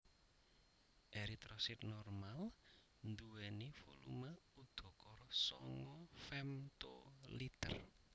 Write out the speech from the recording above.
Eritrosit normal nduwèni volume udakara sanga femtoliter